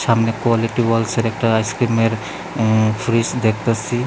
সামনে কোয়ালিটি ওয়ালসের একটা আইসক্রিমের ফ্রিজ দেখতাছি।